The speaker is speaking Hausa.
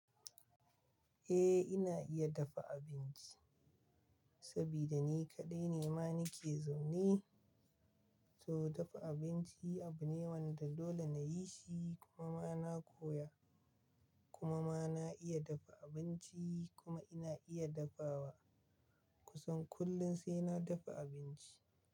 Eh ina iya dafa abinci, saboda ni kaɗai ne ma nake zaune, to dafa abinci abu ne wanda dole na yi shi kuma ma na koya. Kuma ma na iya dafa abinci kuma ina iya dafawa kusan kullum sai na dafa abinci.